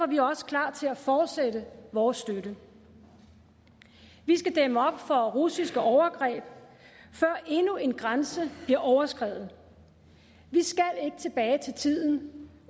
vi også klar til at fortsætte vores støtte vi skal dæmme op for russiske overgreb før endnu en grænse bliver overskredet vi skal ikke tilbage til tiden